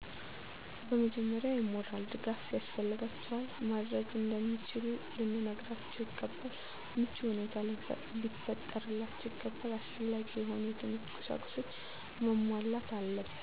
በመጀመሪያ የሞራል ድጋፍ ያስፈልጋቸዋል። ማድረግ እንደሚችሉ ልንነግራቸው ይገባል። ምቹ ሁኔታ ሊፈጠርላቸው ይገባል። አስፈላጊ የሆኑ የትምህርት ቁሳቁሶች መሟላት አለበት።